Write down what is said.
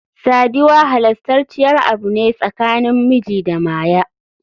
Sadiwa halastaciyar Abu ne tsakanin miji da Maya.